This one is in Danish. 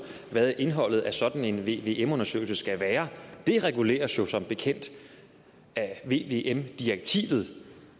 hvad indholdet af sådan en vvm undersøgelse skal være det reguleres jo som bekendt af vvm direktivet